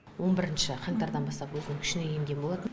он бірінші қаңтардан бастап өзінің күшіне енген болатын